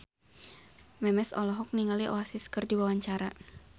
Memes olohok ningali Oasis keur diwawancara